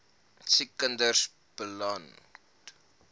siek kinders beland